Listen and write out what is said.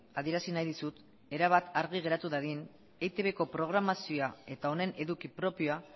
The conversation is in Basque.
adierazi nahi dizut erabat argi geratu dadin eitbko programazioa eta honen eduki propioa